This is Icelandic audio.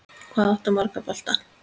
Hvað áttu marga bolta?